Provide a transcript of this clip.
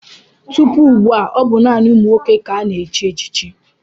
Tupu ugbu a, ọ bụ naanị ụmụ nwoke ka a na-echi echichi.